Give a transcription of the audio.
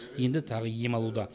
енді тағы ем алуда